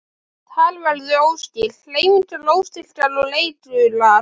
Tal verður óskýrt, hreyfingar óstyrkar og reikular.